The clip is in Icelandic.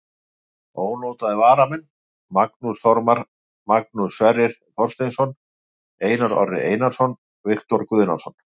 Ónotaðir varamenn: Magnús Þormar, Magnús Sverrir Þorsteinsson, Einar Orri Einarsson, Viktor Guðnason.